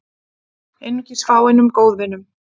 Einungis fáeinum góðvinum